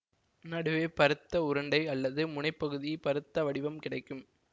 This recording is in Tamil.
நடுவே பருத்த உருண்டை அல்லது முனைப்பகுதி பருத்த வடிவம் கிடைக்கும்